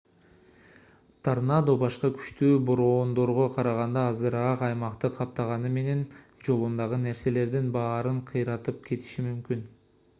торнадо башка күчтүү бороондорго караганда азыраак аймакты каптаганы менен жолундагы нерселердин баарын кыйратып кетиши мүмкүн